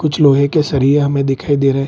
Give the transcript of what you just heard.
कुछ लोहे के सरिये हमें दिखाई दे रहे।